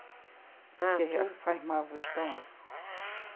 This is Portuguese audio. Porque faz mal para o estômago.